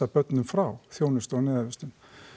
börnum frá þjónustu og neyðarvistun